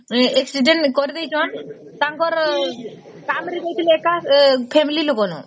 accident କରିଦେଇସନ ତାଙ୍କର କାମରେ ଯାଇଥିଲେ ଏକା daily ଲୋକ ନୁହେ